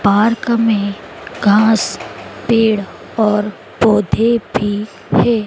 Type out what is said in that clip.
Park में घास पेड़ और पौधे भी है।